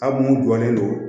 A mun dɔnnen don